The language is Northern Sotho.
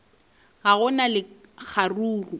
ga go na le kgaruru